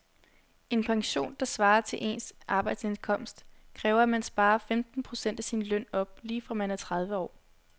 En pension, der svarer til ens arbejdsindkomst, kræver at man sparer femten procent af sin løn op lige fra man er tredive år.